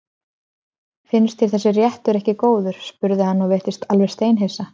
Finnst þér þessi réttur ekki góður? spurði hann og virtist alveg steinhissa.